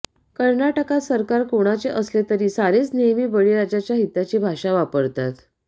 कर्नाटकात सरकार कोणाचे असले तरी सारेच नेहमी बळीराजाच्या हिताची भाषा वापरतात